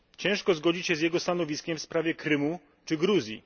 Ciężko zgodzić się z jego stanowiskiem w sprawie Krymu czy Gruzji.